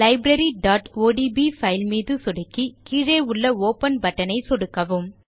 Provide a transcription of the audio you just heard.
libraryஒடிபி file மீது சொடுக்கி கீழே உள்ள ஒப்பன் பட்டன் மீதும் சொடுக்கவும்